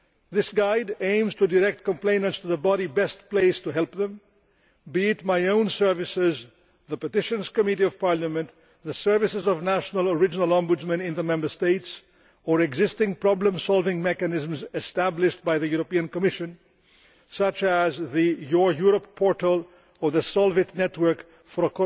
This guide aims to direct complainants to the body best placed to help them, be it my own services, the Petitions Committee of Parliament, the services of national original ombudsmen in the Member States, or existing problem solving mechanisms established by the European Commission such as the Your Europe' portal or the Solvit network for